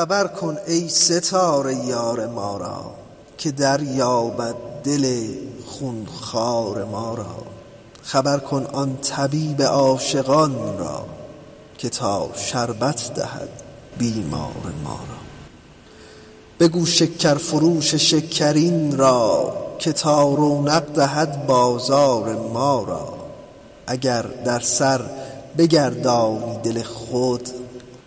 خبر کن ای ستاره یار ما را که دریابد دل خون خوار ما را خبر کن آن طبیب عاشقان را که تا شربت دهد بیمار ما را بگو شکرفروش شکرین را که تا رونق دهد بازار ما را اگر در سر بگردانی دل خود